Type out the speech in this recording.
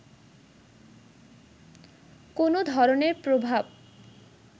কোনো ধরনের প্রভাব